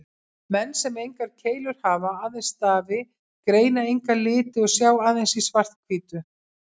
Menn sem engar keilur hafa, aðeins stafi, greina enga liti og sjá aðeins í svart-hvítu.